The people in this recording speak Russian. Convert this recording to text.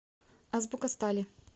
азбука стали